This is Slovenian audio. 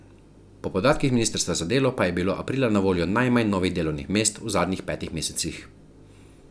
Po podatkih ministrstva za delo pa je bilo aprila na voljo najmanj novih delovnih mest v zadnjih petih mesecih.